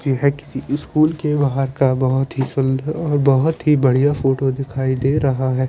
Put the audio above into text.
यह किसी स्कूल के बहार का बहुत ही सुन्दर और बोहोत ही बढ़िया फोटो दिखाई दे रहा है ।